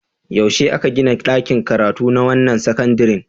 Yaushe aka gina ɗakin karatu na wannan sakandaren?